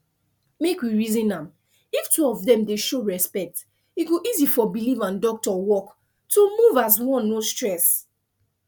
make we reason am if two of dem dey show respect e go easy for belief and doctor work to move as one no stress